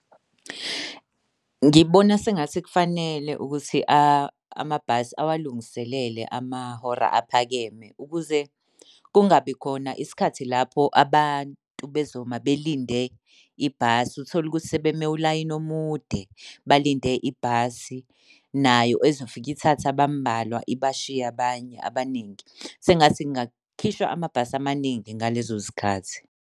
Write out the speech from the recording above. Ngibona sengathi kufanele ukuthi amabhasi awalungiselele amahora aphakeme ukuze kungabi khona isikhathi lapho abantu bezoma belinde ibhasi. Uthole ukuthi sebeme ulayini omude, balinde ibhasi nayo ezofike ithathe abamubalwa ibashiye abanye abaningi. Sengathi kungakhishwa amabhasi amaningi ngalezo zikhathi.